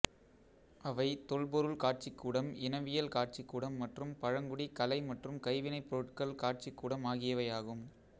அவை தொல்பொருள் காட்சிக்கூடம் இனவியல் காட்சிக்கூடம் மற்றும் பழங்குடி கலை மற்றும் கைவினைப் பொருள்கள் காட்சிக்கூடம் ஆகியவையாகும்